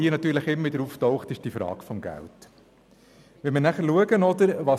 Die Frage des Geldes taucht auch immer wieder auf.